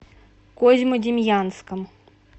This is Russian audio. козьмодемьянском